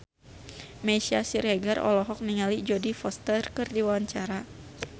Meisya Siregar olohok ningali Jodie Foster keur diwawancara